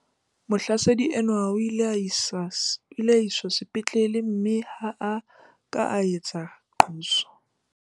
Mohlasedi enwa o ile a iswa sepetlele mme ha a ka a etsa qoso.